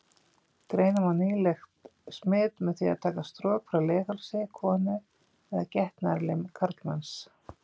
Greina má nýlegt smit með því að taka strok frá leghálsi konu eða getnaðarlim karlmanns.